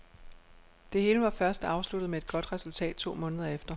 Det hele var først afsluttet med et godt resultat to måneder efter.